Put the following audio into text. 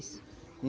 Isso.